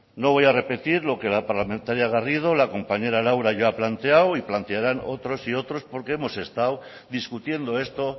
no voy a repetir lo que la parlamentaria garrido la compañera laura ya ha planteado y plantearán otros y otros porque hemos estado discutiendo esto